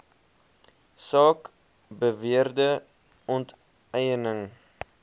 saak beweerde onteiening